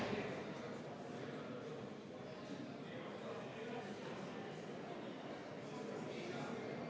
Me ei tea täpselt, kellele ta viitas, nii et ma arvan, et voli seda parandada minul kindlasti ei ole.